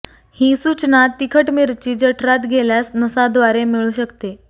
ही सूचना तिखट मिरची जठरात गेल्यास नसाद्वारे मिळू शकते